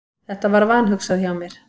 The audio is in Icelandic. Þetta var vanhugsað hjá mér.